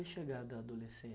E a chegada da